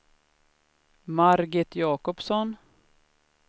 Margit Jacobsson